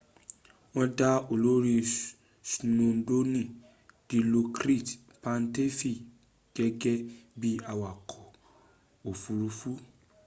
won da olori skwodroni dilokrit pattavee gege bi awako ofururu